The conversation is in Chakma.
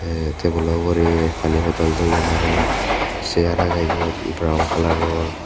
te tebulo ugurey pani bodol toyon arow sear agey eyot brown kalaror.